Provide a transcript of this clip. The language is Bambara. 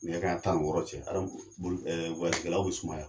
Nɛgɛ kanɲɛ tan ni wɔɔrɔ cɛ ɛɛ kɛlaw bɛ sumaya.